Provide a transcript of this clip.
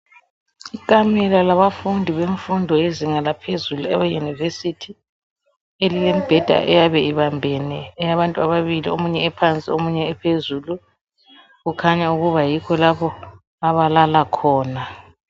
Ikamela labafundi bemfundo yezinga laphezulu leyunivesithi elilembheda eyabe ibambene eyabantu ababili omunye ephansi omunye ephezulu. Kukhanya ukuba yikho lapho abalala khona.